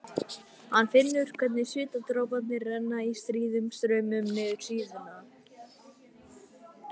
Hann finnur hvernig svitadroparnir renna í stríðum straumum niður síðuna.